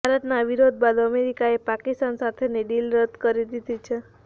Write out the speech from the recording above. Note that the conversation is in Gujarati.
ભારતના વિરોધ બાદ અમેરિકાએ પાકિસ્તાન સાથેની ડિલ રદ કરી દીધી છે